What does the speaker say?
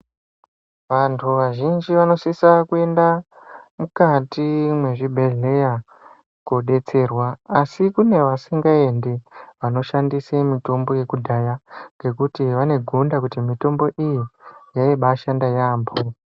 Vantu vazhinji vanosisa kuenda, mukati mwezvibhedhleya koodetserwa, asi kune asingaendi, vanoshandise mitombo yekudhaya , ngekuti vane gonda kuti mitombo iyi , yaibaashanda yaampho.